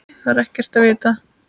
Það er ekkert vitað.